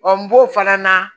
n b'o fana na